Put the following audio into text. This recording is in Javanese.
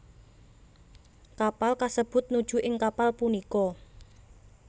Kapal kasebut nuju ing kapal punika